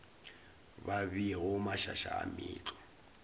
ba beago mašaša a meetlwa